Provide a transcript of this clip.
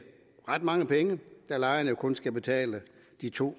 ret mange penge da lejerne jo kun skal betale de to